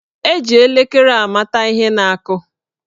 Eji elekere amata ihe na-akụ.